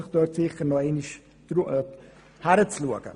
Deshalb lohnt es sich, nochmals hinzusehen.